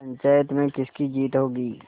पंचायत में किसकी जीत होगी